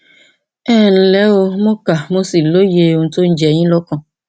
ẹ ǹlẹ o mo kà mo sì lóye ohun tó ń jẹ yín lọkàn